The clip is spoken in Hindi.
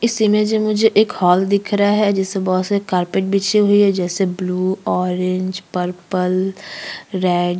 इस इमेज में मुझे एक हॉल दिख रहा है जिसमें बहुत सारे कारपेट बिछे हुए है जैसे ब्लू ऑरेंज पर्पल रेड --